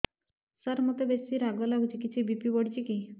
ସାର ମୋତେ ବେସି ରାଗ ଲାଗୁଚି କିଛି ବି.ପି ବଢ଼ିଚି କି